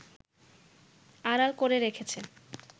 আড়াল করে রেখেছে